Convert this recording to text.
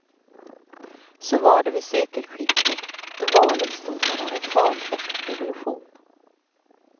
Så var det vid sekelskiftet, då valet stod mellan reform och revolution.